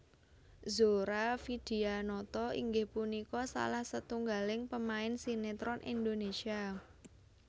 Zora Vidyanata inggih punika salah setungggaling pemain sinétron Indonésia